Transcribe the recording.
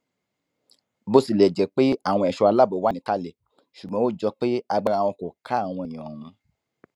bó tilẹ jẹ pé àwọn ẹṣọ aláàbò wà níkàlẹ ṣùgbọn ó jọ pé agbára wọn kò ká àwọn èèyàn ọhún